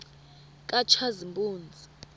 katshazimpuzi